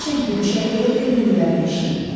Eşitmişəm ki, düşərgədə könüllülər də işləyirlər.